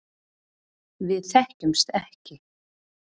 Við þekktumst ekki.